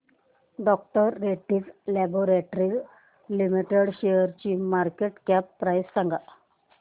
डॉ Reddy's laboratories limited शेअरची market cap price सांगा